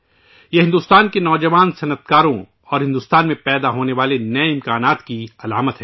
یہ بھارت کے نوجوان صنعت کاروں اور بھارت میں پیدا ہونے والے نئے امکانات کی علامت ہے